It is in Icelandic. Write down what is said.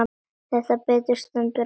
Þegar betur stendur á